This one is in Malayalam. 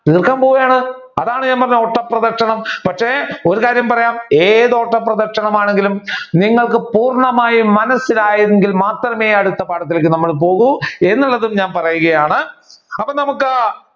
തീർക്കാൻ പോവുകയാണ്. അതാണ് ഞാൻ പറഞ്ഞ ഓട്ട പ്രതിക്ഷണം പക്ഷെ ഒരു കാര്യം പറയാം ഏത് ഓട്ട പ്രദക്ഷണം ആണെങ്കിലും നിങ്ങൾക്ക് പൂർണമായി മനസിലായെങ്കിൽ മാത്രമേ അടുത്ത പാഠത്തിലേക്ക് നമ്മൾ പോകൂ എന്നുള്ളതും ഞാൻ പറയുകയാണ് അപ്പൊ നമുക്ക്